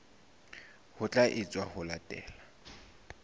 ho tla etswa ho latela